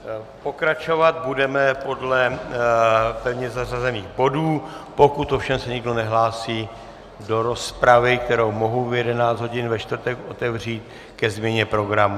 Pokračovat budeme podle pevně zařazených bodů, pokud ovšem se někdo nehlásí do rozpravy, kterou mohu v 11 hodin ve čtvrtek otevřít ke změně programu.